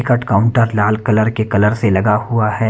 Ticket counter लाल colour के colour से लगा हुआ है।